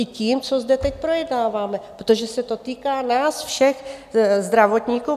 I tím, co zde teď projednáváme, protože se to týká nás všech zdravotníků.